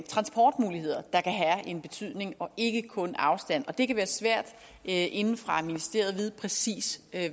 transportmuligheder der kan have en betydning og ikke kun afstand det kan være svært inde fra et ministerie at vide præcis